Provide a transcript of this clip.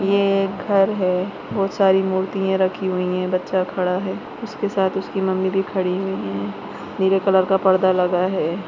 ये एक घर है बहुत सारी मूर्तिया रखी हुई है बच्चा खड़ा है उसके साथ उसकी मम्मी भी खड़ी हुई है नीले कलर का पर्दा लगा है।